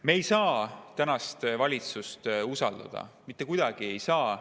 Me ei saa tänast valitsust usaldada, mitte kuidagi ei saa.